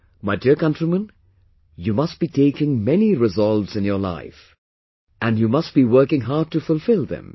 My dear countrymen, you must be taking many resolves in your life, and be you must be working hard to fulfill them